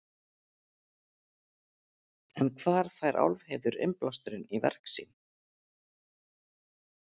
En hvar fær Álfheiður innblásturinn í verk sín?